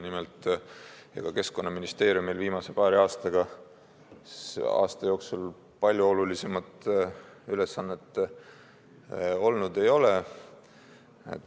Nimelt, ega Keskkonnaministeeriumil viimase paari aasta jooksul olulisemat ülesannet olnud ei ole.